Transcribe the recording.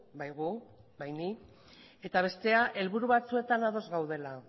bai gu bai ni eta bestea helburu batzuetan ados gaudela